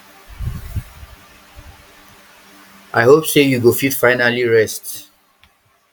i hope say you go fit finally rest